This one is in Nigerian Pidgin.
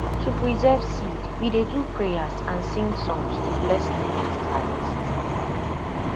to preserve seed we dey do prayers and sing songs to bless the next harvest